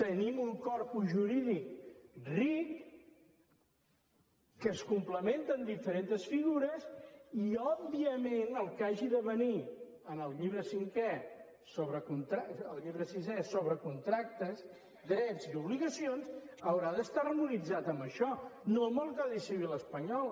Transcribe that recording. tenim un corpus jurídic ric que es complementa amb diferents figures i òbviament el que hagi de venir en el llibre sisè sobre contractes drets i obligacions haurà d’estar harmonitzat amb això no amb el codi civil espanyol